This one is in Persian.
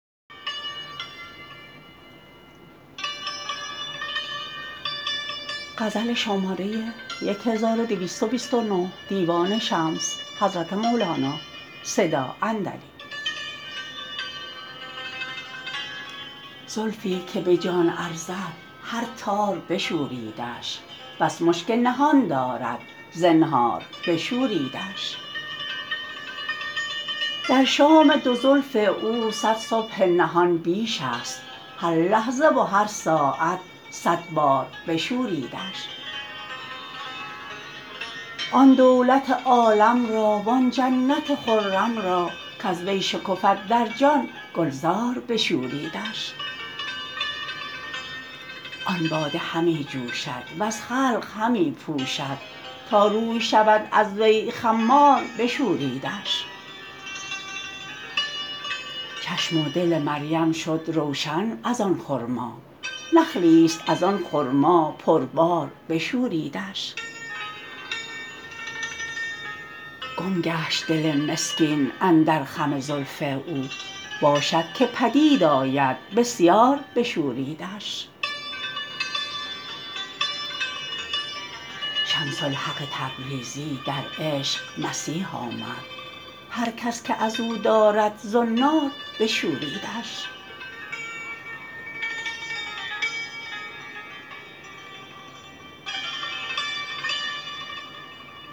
زلفی که به جان ارزد هر تار بشوریدش بس مشک نهان دارد زنهار بشوریدش در شام دو زلف او صد صبح نهان بیشست هر لحظه و هر ساعت صد بار بشوریدش آن دولت عالم را وان جنت خرم را کز وی شکفد در جان گلزار بشوریدش آن باده همی جوشد وز خلق همی پوشد تا روی شود از وی خمار بشوریدش چشم و دل مریم شد روشن از آن خرما نخلیست از آن خرما پربار بشوریدش گم گشت دل مسکین اندر خم زلف او باشد که بدید آید بسیار بشوریدش شمس الحق تبریزی در عشق مسیح آمد هر کس که از او دارد زنار بشوریدش